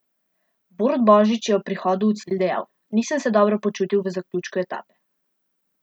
Borut Božič je po prihodu v cilj dejal: ''Nisem se dobro počutil v zaključku etape.